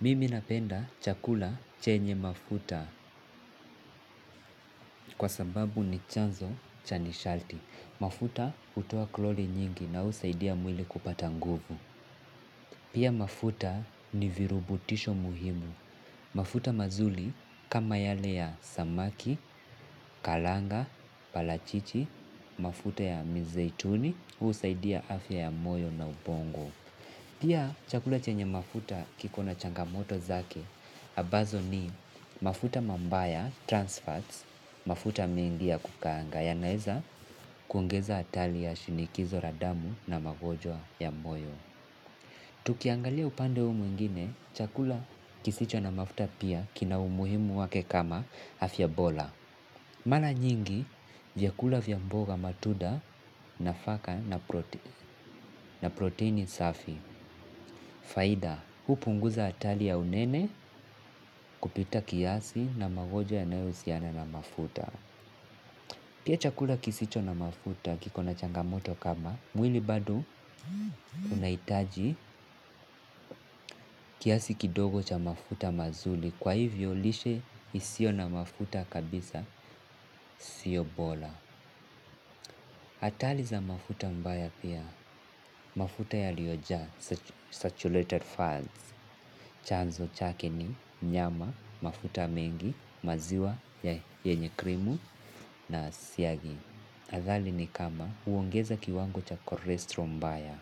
Mimi napenda chakula chenye mafuta kwa sababu ni chanzo cha nishati. Mafuta hutoa kalori nyingi na husaidia mwili kupata nguvu. Pia mafuta ni virutubisho muhimu. Mafuta mazuri kama yale ya samaki, karanga, parachichi, mafuta ya mizeituni, husaidia afya ya moyo na ubongo. Pia, chakula chenye mafuta kiko na changamoto zake, ambazo ni mafuta mabaya, trans fats, mafuta mingi ya kukaanga, yanaweza kuongeza hatari ya shinikizo la damu na magonjwa ya moyo. Tukiangalia upande huu mwingine, chakula kisicho na mafuta pia kina umuhimu wake kama afya bora. Mara nyingi, vyakula vya mboga matunda nafaka na proteni safi. Faida, hupunguza hatari ya unene kupita kiasi na magonjwa yanayohusiana na mafuta. Pia chakula kisicho na mafuta kiko na changamoto kama, mwili bado unahitaji kiasi kidogo cha mafuta mazuri kwa hivyo lishe isiyo na mafuta kabisa siyo bora. Hatari za mafuta mbaya pia, mafuta yaliyojaa, saturated fats, chanzo chake ni, nyama, mafuta mengi, maziwa, yenye krimu na siagi. Athari ni kama huongeza kiwango cha cholesterol mbaya.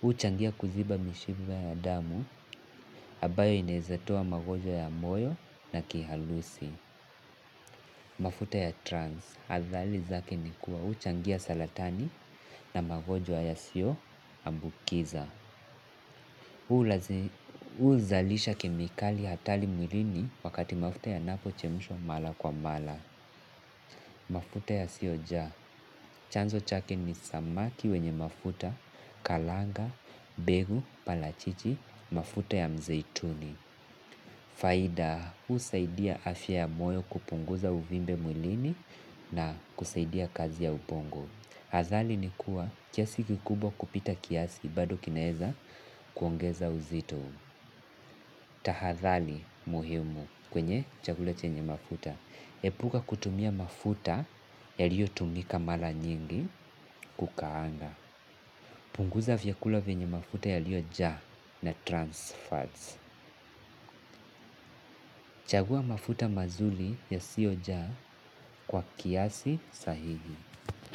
Huchangia kuziba mishipa ya damu, ambayo inaweza toa magonjwa ya moyo na kiharusi. Mafuta ya trans. Athari zake ni kuwa huchangia saratani na magonjwa yasiyoambukiza. Huzalisha kemikali hatari mwilini wakati mafuta yanapochemushwa mara kwa mara. Mafuta yasiyojaa. Chanzo chake ni samaki wenye mafuta, karanga, mbegu, parachichi, mafuta ya mzeituni. Faida, husaidia afya ya moyo kupunguza uvimbe mwilini na kusaidia kazi ya ubongo. Athari ni kuwa kiasi kikubwa kupita kiasi, bado kinaweza kuongeza uzito. Tahadhari muhimu kwenye chakula chenye mafuta. Epuka kutumia mafuta yaliyotumika mara nyingi kukaanga. Punguza vyakula venye mafuta yaliyojaa na trans fats. Chagua mafuta mazuri yasiyojaa kwa kiasi sahihi.